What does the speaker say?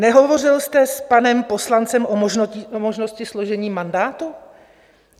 Nehovořil jste s panem poslancem o možnosti složení mandátu?